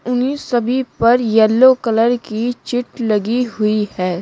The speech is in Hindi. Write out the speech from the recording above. उन्ही सभी पर येलो कलर की चीट लगी हुई है।